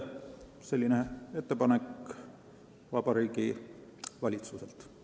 Selline ettepanek Vabariigi Valitsuselt.